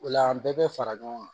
O la an bɛɛ bɛ fara ɲɔgɔn kan